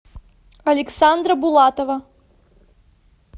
александра булатова